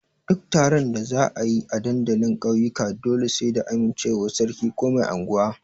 Duk taron da za a yi a dandalin ƙauyuka dole sai da amincewar sarki ko mai anguwa.